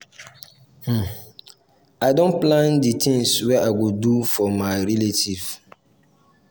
um i don plan di tins wey i go do for my um relatives. um